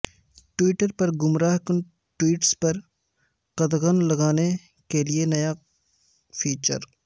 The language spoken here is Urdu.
ٹویٹرپر گمراہ کن ٹویٹس پر قدغن لگانے کیلئے نیا فیچر